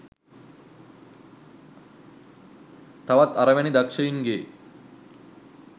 තවත් අර වැනි දක්ෂයි‍න්ගේ